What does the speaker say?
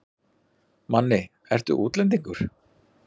Manni, ertu útlendingur?